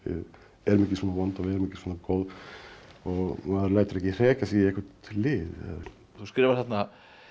erum ekki svona vond og erum ekki svona góð og maður lætur ekki hrekja sig í eitthvert lið þú skrifar þarna